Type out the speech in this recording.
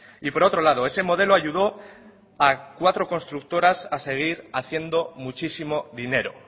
y por otro lado ese modelo ayudó a cuatro constructoras a seguir haciendo muchísimo dinero